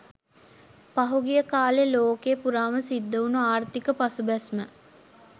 පහුගිය කාලේ ලෝකේ පුරාම සිද්ධ උන ආර්ථික පසුබැස්ම